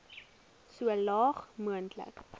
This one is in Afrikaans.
so laag moontlik